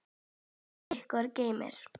Guð ykkur geymi.